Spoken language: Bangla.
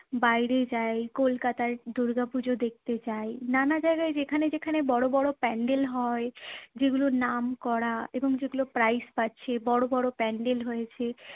বাইরে যাই, কলকাতায় দুর্গাপুজো দেখতে যাই, নানা জায়গায় যেখানে যেখানে বড়ো বড়ো pandal হয়, যেগুলো নাম করা এবং যেগুলো prize পাচ্ছে, বড়ো বড়ো pandal হয়েছে